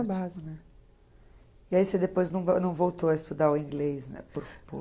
E aí você depois não voltou a estudar o inglês, né?